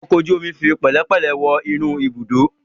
Ọkọ̀ ojú omi ń fi pẹ̀lẹ́pẹ̀lẹ̀ wọ inú ibùdó.